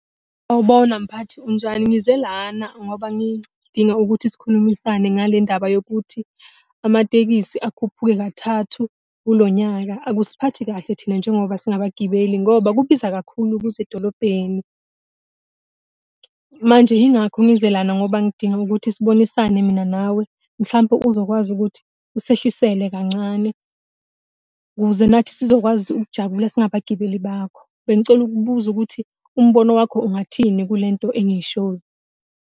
Sawubona mphathi, unjani? Ngize lana ngoba ngidinga ukuthi sikhulumisane ngale ndaba yokuthi amatekisi akhuphuke kathathu kulo nyaka, akusiphatha kahle thina njengoba singabagibeli ngoba kubiza kakhulu ukuza edolobheni. Manje yingakho ngize lana ngoba ngidinga ukuthi sibonisane mina nawe, mhlampe uzokwazi ukuthi usehlisele kancane ukuze nathi sizokwazi ukujabula singabagibeli bakho. Bengicela ukubuza ukuthi umbono wakho ungathini kule nto engiyishoyo.